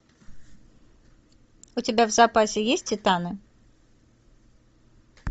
у тебя в запасе есть титаны